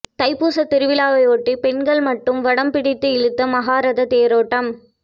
தைப்பூச திருவிழாவையொட்டி பெண்கள் மட்டும் வடம் பிடித்து இழுத்த மகா ரத தேரோட்டம்